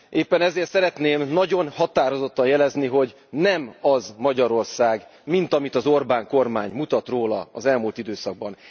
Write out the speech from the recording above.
Éppen ezért szeretném nagyon határozottan jelezni, hogy nem az Magyarország, mint amit az Orbán kormány mutat róla az elmúlt időszakban.